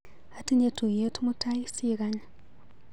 Atinye tuiyet mutai, sikany.